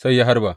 Sai ya harba.